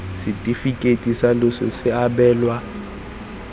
setefikeiti sa loso se abelwa